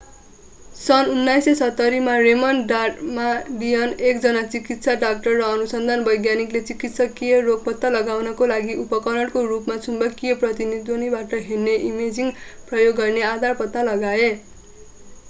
सन् 1970 मा Raymond Damadian एकजना चिकित्सा डाक्टर र अनुसन्धान वैज्ञानिकले चिकित्सकिय रोग पत्ता लगाउनको लागि उपकरणको रूपमा चुम्बकीय प्रतिध्वनीबाट हेर्ने इमेजिङ प्रयोग गर्ने आधार पत्ता लगाए